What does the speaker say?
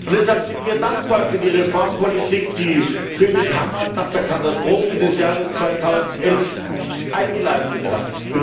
Und deshalb sind wir dankbar für die Reformpolitik, die König Hamad nach der Katastrophe des Jahres 2011 eingeleitet hat.